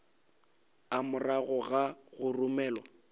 a morago ga go romelwa